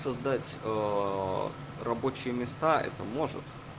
создать рабочие места это может